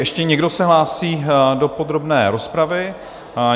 Ještě někdo se hlásí do podrobné rozpravy?